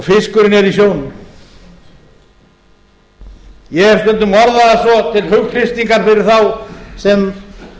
fiskurinn er í sjónum ég hef stundum orðað það svo til hughreystingar fyrir þá sem eru